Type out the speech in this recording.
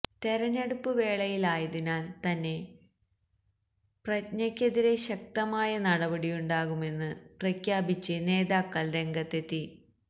തെരഞ്ഞെടുപ്പ് വേളയിലായതിനാല് തന്നെ പ്രജ്ഞക്കെതിരെ ശക്തമായ നടപടിയുണ്ടാകുമെന്ന് പ്രഖ്യാപിച്ച് നേതാക്കള് രംഗത്തെത്തി